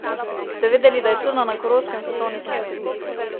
Ste vedeli, da je Črna na Koroškem svetovni fenomen?